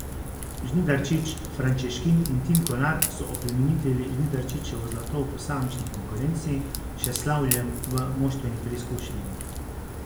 Žnidarčič, Frančeškin in Tim Kolar so oplemenitili Žnidarčičevo zlato v posamični konkurenci še s slavjem v moštveni preizkušnji.